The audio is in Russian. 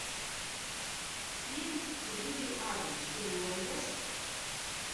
фильм целитель адамс ты мне найдешь